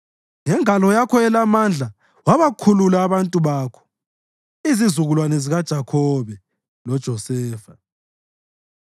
Ngengalo yakho elamandla wabakhulula abantu bakho, izizukulwane zikaJakhobe loJosefa.